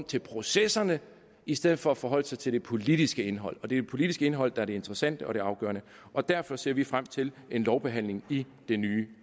til processerne i stedet for at forholde sig til det politiske indhold og det politiske indhold der er det interessante og det afgørende og derfor ser vi frem til en lovbehandling i det nye